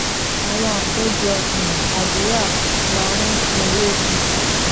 àwọn àpéjọ um àdúrà máa um ń fún un lókun